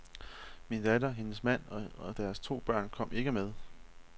Min datter, hendes mand og deres to børn kom ikke med.